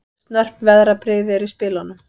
Snörp veðrabrigði eru í spilunum